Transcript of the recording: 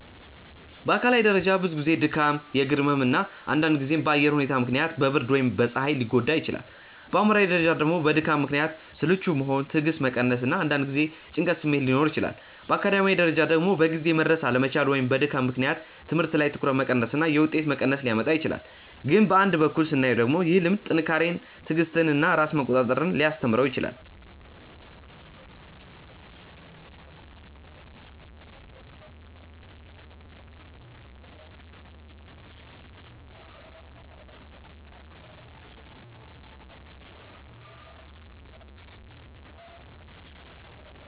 በአካላዊ ደረጃ ብዙ ጊዜ ድካም፣ የእግር ህመም እና አንዳንድ ጊዜም በአየር ሁኔታ ምክንያት በብርድ ወይም በፀሐይ ሊጎዳ ይችላል። በአእምሯዊ ደረጃ ደግሞ በድካም ምክንያት ስልቹ መሆን፣ ትዕግስት መቀነስ እና አንዳንድ ጊዜ የጭንቀት ስሜት ሊኖር ይችላል። በአካዳሚያዊ ደረጃ ደግሞ በጊዜ መድረስ አለመቻል ወይም በድካም ምክንያት ትምህርት ላይ ትኩረት መቀነስ እና የውጤት መቀነስ ሊያመጣ ይችላል። ግን በአንድ በኩል ስናየው ደግሞ ይህ ልምድ ጥንካሬን፣ ትዕግስትን እና ራስን መቆጣጠር ሊያስተምረው ይችላል